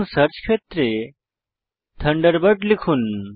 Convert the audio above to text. search ফীল্ডে Thunderbird লিখুন